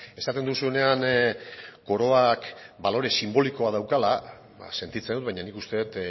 esaten duzuenean koroak balore sinbolikoa daukala ba sentitzen dut baina nik uste dut